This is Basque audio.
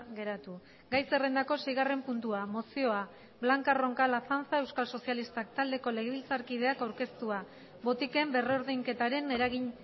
geratu gai zerrendako seigarren puntua mozioa blanca roncal azanza euskal sozialistak taldeko legebiltzarkideak aurkeztua botiken berrordainketaren eragin